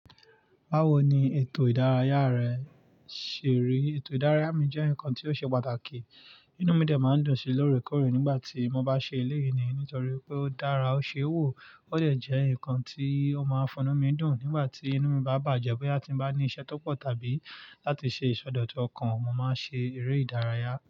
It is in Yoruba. Báwo ni ètò ìdárayá rẹ ṣe rí? Ètò ìdárayá mi jẹ́ nǹkan tí ó ṣe pàtàkì. Inú mi dè máa ń dùn sí lóré kọ̀ré nígbà tí mo bá ṣe eléyìí ní nítorí pé ó dára, ó ṣe wò ó sẹ jẹ́ ǹkan tí ó máa funnu mi dùn nígbà tí inú mi bá bàjẹ́. Bóya ti ń bá ní iṣẹ́ tó pọ̀ tàbí láti ṣe ìsọdọ̀tọ́ ọkàn, mo máa ń ṣe eré ìdárayá.